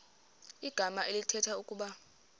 igama elithetha ukuba